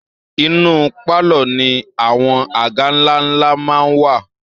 Inú pálọ̀ ni àwọn àga ńlá ńlá máa ń wà